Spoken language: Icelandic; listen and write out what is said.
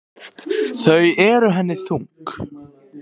Þau eru henni þung.